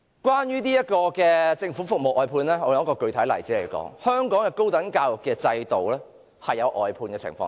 關於政府服務外判一事，我現在用一個具體例子說明，香港高等教育的制度，已出現外判的情況。